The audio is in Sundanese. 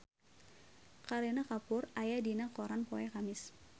Kareena Kapoor aya dina koran poe Kemis